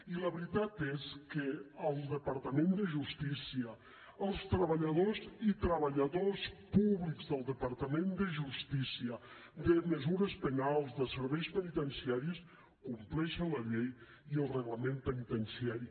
i la veritat és que el departament de justícia els treballadors i treballadores públics del departament de justícia de mesures penals de serveis penitenciaris compleixen la llei i el reglament penitenciari